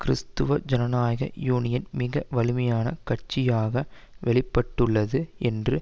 கிறிஸ்தவ ஜனநாயக யூனியன் மிக வலிமையான கட்சியாக வெளி பட்டுள்ளது என்று